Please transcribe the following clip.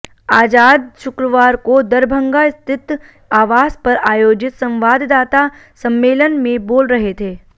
आजाद शुक्रवार को दरभंगा स्थित आवास पर आयोजित संवाददाता सम्मेलन में बोल रहे थे